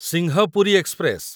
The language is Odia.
ସିଂହପୁରୀ ଏକ୍ସପ୍ରେସ